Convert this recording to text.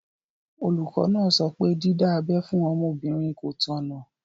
Olùkọ́ náà sọ pé dídá abẹ́ fún ọmọbìnrin kò tọ̀nà.